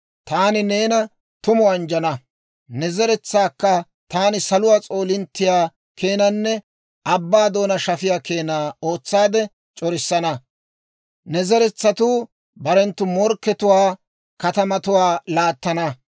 taani neena tumu anjjana; ne zeretsaakka taani saluwaa s'oolinttiyaa keenanne abbaa doonaa shafiyaa keena ootsaade c'orissana. Ne zeretsatuu barenttu morkkatuwaa katamatuwaa laattana.